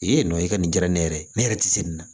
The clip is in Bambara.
yen nɔ i ka nin diyara ne yɛrɛ ye ne yɛrɛ tɛ se nin na